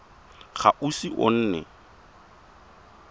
ga o ise o nne